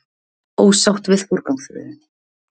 Ósátt við forgangsröðun